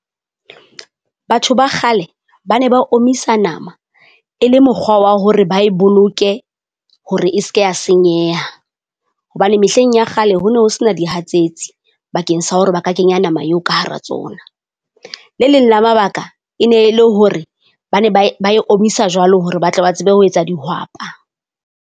Batho ba kgale ba ne ba omisa nama e le mokgwa wa hore ba e boloke hore e se ke ya senyeha. Hobane mehleng ya kgale ho no ho se na dihatsetsi bakeng sa hore ba ka kenya nama eo ka hara tsona. Le leng la mabaka e ne le hore ba ne ba e ba e omisa jwalo hore ba tla ba tsebe ho etsa dihwapa.